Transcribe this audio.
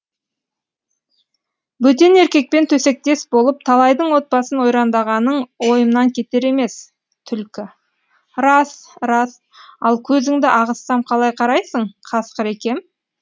бөтен еркекпен төсектес болып талайдың отбасын ойрандағаның ойымнан кетер емес түлкі рас рас ал көзіңді ағызсам қалай қарайсың қасқыр екем